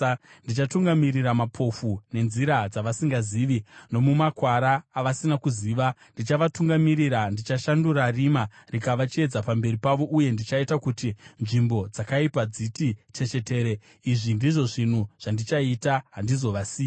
Ndichatungamirira mapofu nenzira dzavasingazivi, nomumakwara avasina kuziva, ndichavatungamirira; ndichashandura rima rikava chiedza pamberi pavo uye ndichaita kuti nzvimbo dzakaipa dziti chechetere. Izvi ndizvo zvinhu zvandichaita; handizovasiya.